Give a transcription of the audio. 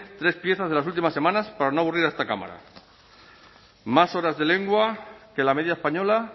tres piezas de las últimas semanas para no aburrir a esta cámara más horas de lengua que la media española